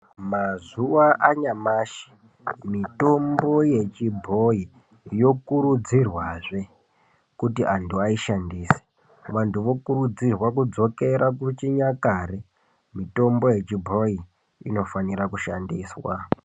Mazuwa anyamashi mitombo yechibhoyi yokuridzirwazve kuti antu aishandise. Vandhu vokurudzirwa kudzokera kuchinyakare, mitombo yechibhoyi inofanira kushandiswa.